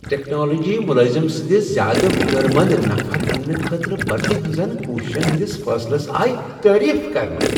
Technology ملٲزم سنِٛدس زیادٕ ہنر منٛد نفر انٛنہٕ خٲطرٕ بھرتی ہنزن كوٗششین ہندِس فٲصلس آیہ تعریف كرنہٕ ۔